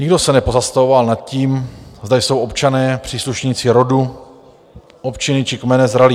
Nikdo se nepozastavoval nad tím, zda jsou občané, příslušníci rodu, občiny či kmene zralí.